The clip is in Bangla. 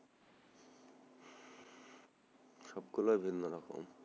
সবগুলা ভিন্ন রকম,